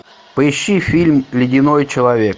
поищи фильм ледяной человек